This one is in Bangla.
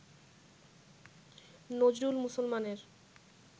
নজরুল মুসলমানের